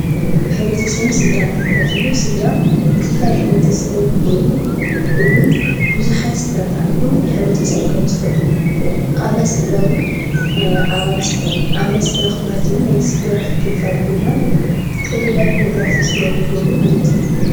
ሕ/ሰብን ስድራን ክባሃል ተሎ ስድራ ክፋል ሕ/ሰብ ኾይኑ እውን ብዙሓት ስድራ ተኣኪቦም ሕ/ሰብ ከምዝፈጥሩ። ኣባላት ስድራ እውን ኣባላት ስድራ ክባሃል ተሎ ናይ ስድራ ክፋል ኾይኖም ዝተፈላለዩ ነገራት ኣብ ስድረኦም ይገብሩ ማለት እዩ፡፡